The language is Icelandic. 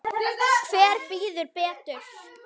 Hver bíður betur?